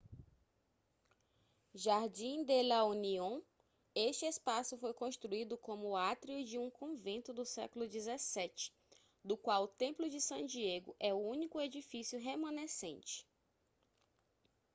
jardín de la unión este espaço foi construído como átrio de um convento do século 17 do qual o templo de san diego é o único edifício remanescente